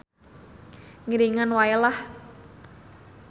Ngiringan wae lah.